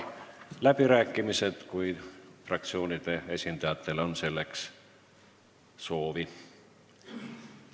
Avan läbirääkimised, kui fraktsioonide esindajatel on selleks soovi.